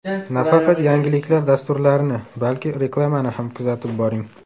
Nafaqat yangiliklar dasturlarini, balki reklamani ham kuzatib boring.